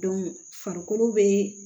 farikolo be